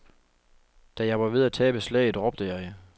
Da jeg var ved at tabe slaget, råbte jeg.